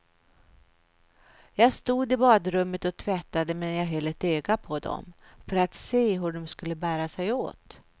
Jag stod i badrummet och tvättade medan jag höll ett öga på dom, för att se hur de skulle bära sig åt.